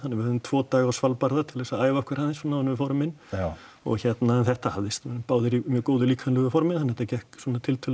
við höfðum tvo daga á Svalbarða til að æfa okkur aðeins svona áður en við fórum inn já og hérna en þetta hafðist voru báðir í mjög góðu líkamlegu formi þannig að þetta gekk svona tiltölulega